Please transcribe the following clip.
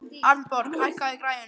Arnborg, hækkaðu í græjunum.